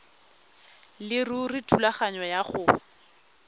leruri thulaganyo ya go